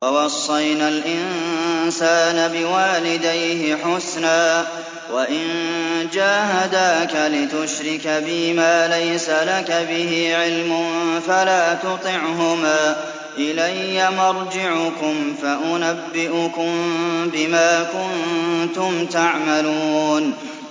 وَوَصَّيْنَا الْإِنسَانَ بِوَالِدَيْهِ حُسْنًا ۖ وَإِن جَاهَدَاكَ لِتُشْرِكَ بِي مَا لَيْسَ لَكَ بِهِ عِلْمٌ فَلَا تُطِعْهُمَا ۚ إِلَيَّ مَرْجِعُكُمْ فَأُنَبِّئُكُم بِمَا كُنتُمْ تَعْمَلُونَ